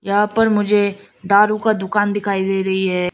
यहां पर मुझे दारू का दुकान दिखाई दे रही है।